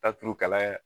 Taa turu kalaya